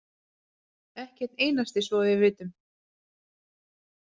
Ekki einn einasti svo að við vitum.